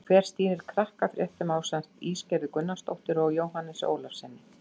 Hver stýrir Krakkafréttum ásamt Ísgerði Gunnarsdóttur og Jóhannesi Ólafssyni?